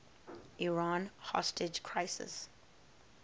iran hostage crisis